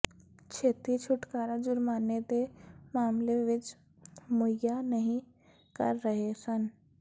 ਛੇਤੀ ਛੁਟਕਾਰਾ ਜੁਰਮਾਨੇ ਦੇ ਮਾਮਲੇ ਵਿਚ ਮੁਹੱਈਆ ਨਹੀ ਕਰ ਰਹੇ ਹਨ